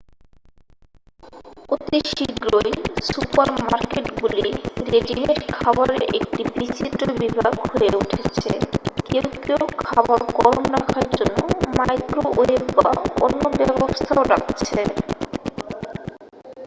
অতি শীঘ্রই সুপার-মার্কেটগুলি রেডিমেড খাবারের একটি বিচিত্র বিভাগ হয়ে উঠছে কেউ কেউ খাবার গরম রাখার জন্য মাইক্রোওয়েভ বা অন্য ব্যবস্থাও রাখছে